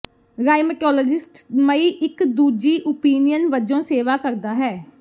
rheumatologist ਮਈ ਇੱਕ ਦੂਜੀ ਓਪੀਨੀਅਨ ਵਜੋਂ ਸੇਵਾ ਕਰਦਾ ਹੈ